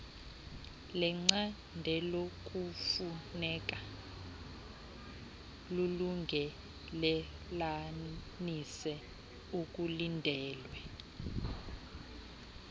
lecandelokufuneka lulungelelanise okulindelwe